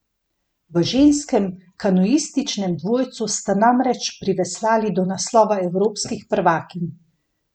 V ženskem kanuističnem dvojcu sta namreč priveslali do naslova evropskih prvakinj!